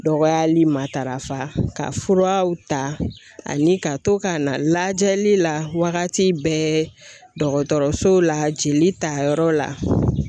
Dɔgɔyali ma darafa ka furaw ta ani ka to ka na lajɛli la waagati bɛɛ dɔgɔtɔrɔso la jeli ta yɔrɔ la.